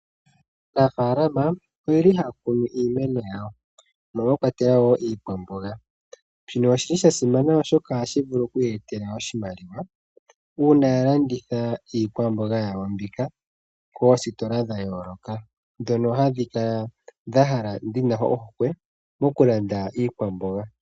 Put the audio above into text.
Aanafalama ohaya kunu iimeno yawo mono mwakwatelwa iikwamboga. Osha simana oshoka ohashi ya etele iimaliwa uuna yalanditha koositola ndhono hadhi kala dhina ohokwe mokulanda iikwamboga.